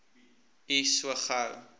u so gou